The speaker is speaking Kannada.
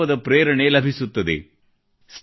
ಸಂಕಲ್ಪದ ಪ್ರೇರಣೆ ಲಭಿಸುತ್ತದೆ